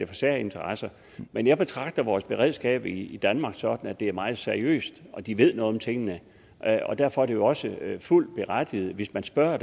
for særinteresser men jeg betragter vores beredskab i danmark sådan at det er meget seriøst og at de ved noget om tingene og derfor er det jo også fuldt berettiget hvis man spørger